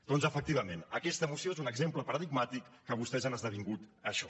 doncs efectivament aquesta moció és un exemple paradigmàtic que vostès han esdevingut això